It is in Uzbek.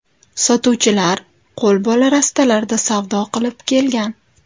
Sotuvchilar qo‘lbola rastalarda savdo qilib kelgan.